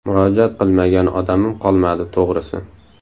Murojaat qilmagan odamim qolmadi, to‘g‘risi.